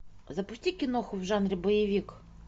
запусти киноху в жанре боевик